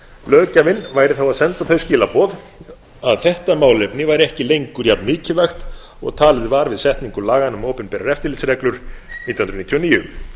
löggjafinn væri þá að senda þau skilaboð að þetta málefni væri ekki lengur jafn mikilvægt og talið var við setningu laganna um opinberar eftirlitsreglur nítján hundruð níutíu og níu